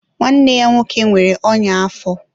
nwanne ya nwoke nwere ọnya afọ.